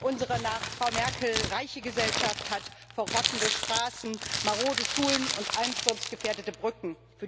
Unsere nach Frau Merkel reiche Gesellschaft hat verrottende Straßen, marode Schulen und einsturzgefährdete Brücken.